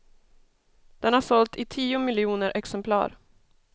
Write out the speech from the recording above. Den har sålt i tio miljoner exemplar.